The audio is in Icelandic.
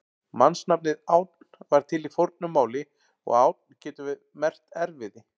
Mannsnafnið Ánn var til í fornu máli og ánn getur merkt erfiði.